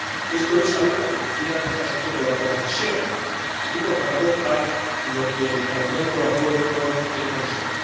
Esto es algo, como decía, que está sujeto a la codecisión y, por tanto, a lo que el Parlamento acuerde con el Consejo.